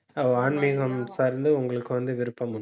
ஓ ஆன்மீகம் சார்ந்து, உங்களுக்கு வந்து விருப்பம் உண்டு